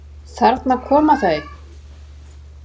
Þarna koma þau!